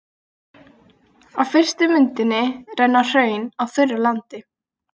Á fyrstu myndinni renna hraun á þurru landi.